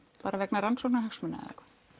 vegna rannsóknarhagsmuna